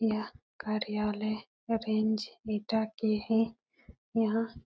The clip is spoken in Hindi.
यह कार्यालय अरेंज डेटा के हैं। यहाँ --